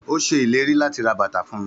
Ó ṣe ìlérí láti ra bàtà fún mi.